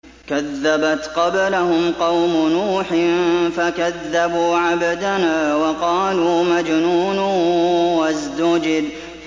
۞ كَذَّبَتْ قَبْلَهُمْ قَوْمُ نُوحٍ فَكَذَّبُوا عَبْدَنَا وَقَالُوا مَجْنُونٌ وَازْدُجِرَ